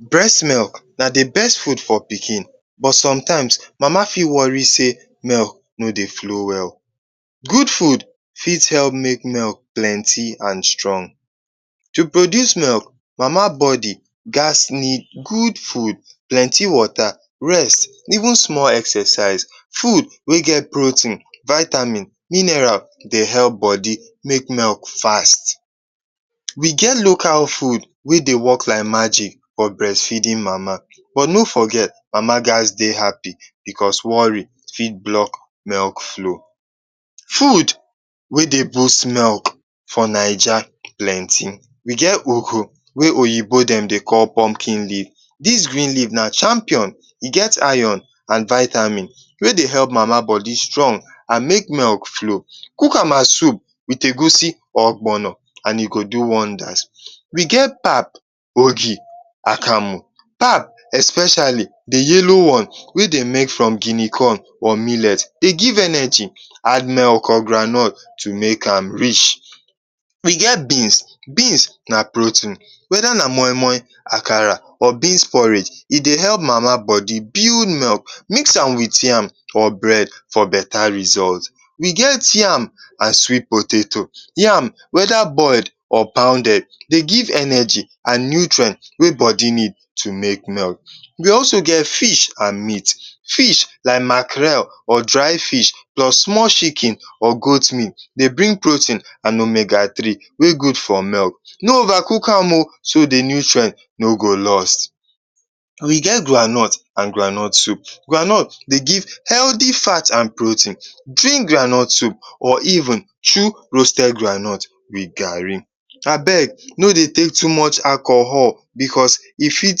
Brest milk na the best fud for pikin but somtimes mama fit wori sey milk no dey flow well. Gud fud fit help milk meal plenti and strong. To produce milk, mama bodi ghas need gud fud, plenty wota, even small exercise. fud wey get protein, vitamin, mineral dey help bodi make milk fast. We get local fud wey dey work like magic for brest geeding mama but no forget mama ghas dey happi because wori fit blok milk flow, fud wey dey boast milk for Naija plenti we get oho wey oyibo dey call pumpkin leaf. Dis green leaf na champion, e get iron and vitamin wey dey help mama bodi strong and make milk flow. Kukama soup wit egusi and ogbonor and e go do wondas. We get pap, ogi akamu, pap especiali the yellow one wey dey get from guinea corn, millet dey give energy, add milk or groundnut to make am rich. E get beans, beans na protein, weda na moi-moi, akara or beans porage, e dey help mama bodi build milk. Mix am wit yam or bred for beta result. We get yam and swit potato, yam weda boild or pounded dey give energy and nutrient wey bodi need to make milk. We also get fish and meat, fish like Makarel, dry fish, small chikin and goat meat dey bring protein and omega three wey gud for milk, no ova cook am o so the nutrient no go lost. We get groundnut and groundnut soup, groundnut dey give heldy fat and protein, drink groundnut soup, or even chew roasted groundnut wit gari. Abeg no dey take too much alcohol because e fit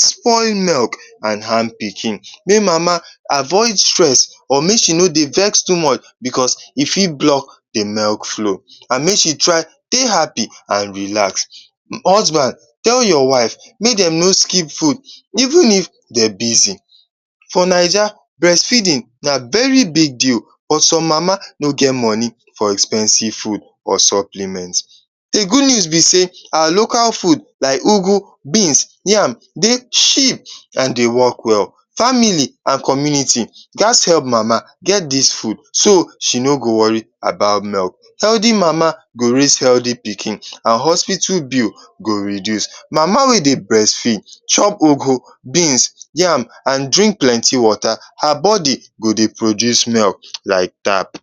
spoil milk and ham pikin. Mey mama avoid stress or make she no dey wex too much, e fit blok the milk flow. And make she try dey happi and relax. Husband tell your wife make dem no skip fud evn if dem busy. For Naija, brest feedin na very big deal but som mama no get moni for expensive fud or supplement. The gud news be sey, our local fud like ugwu, beans, yam dey cheap and dey work well family and community ghas help mama to get dis food so she no go wori about milk, heldy mama, go raise heldy pikin and hospital bill go reduce. Mama wey dey brest feed, chop ugwu, beans, yam and drink plenti wota, her bodi go dey produce milk like tap.